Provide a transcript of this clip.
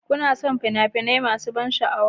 Kana son fina-finai masu ban sha'awa?